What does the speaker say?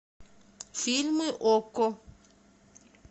фильмы окко